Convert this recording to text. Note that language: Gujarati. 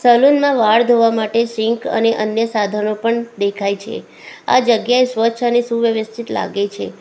સલૂન માં વાળ ધોવા માટે સિંક અને અન્ય સાધનો પણ દેખાય છે આ જગ્યા સ્વચ્છ અને સુવ્યવસ્થિત લાગે છે.